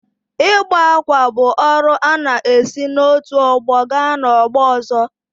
Ịkpa ákwà bụ ọrụ a na-esi n’otu ọgbọ gaa n’ọgbọ ọzọ.